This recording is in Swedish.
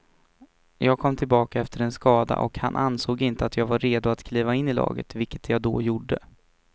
Jag kom tillbaka efter en skada och han ansåg inte att jag var redo att kliva in i laget, vilket jag då gjorde.